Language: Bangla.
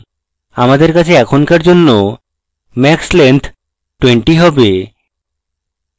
আমাদের কাছে এখনকার জন্য max length 20 have